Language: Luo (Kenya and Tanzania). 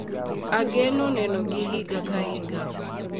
Ageno nenogi higa ka higa,